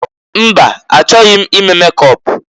Mba! Achọghị m ime mekọp.